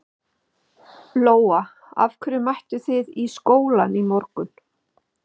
Lóa: Af hverju mættu þið í skólann í morgun?